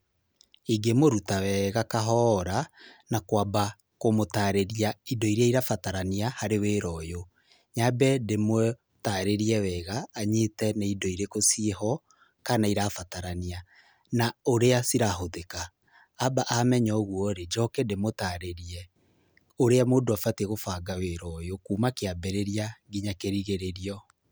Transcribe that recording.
Ingĩmũruta wega kahora, na kũamba kũmũtarĩria indo iria irabatarania harĩ wĩra ũyũ. Nyambe ndĩmũtarĩrie wega anyite nĩ indo ĩrĩkũ ciĩho kana irabatarania, na ũrĩa cirahũthĩka. Amba amenya ũguo rĩ njoke ndĩmũtarĩrie ũrĩa mũndũ abatie gũbanga wĩra ũyũ kuuma kĩambĩrĩria nginya kĩrigĩrĩrio.